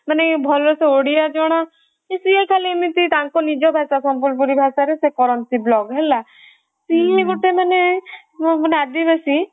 ମାନେ ଭଲ ସେ ଓଡିଆ ଜଣା ସିଏ ଖାଲି ଏମିତି ତାଙ୍କ ନିଜ ଭାଷା ସମ୍ବଲପୁରୀ ଭାଷାରେ ସେ କରନ୍ତି vlog ହେଲା ସେମାନେ ଆଦିବାସୀ